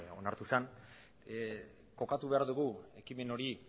onartu zen kokatu behar dugu ekimen hori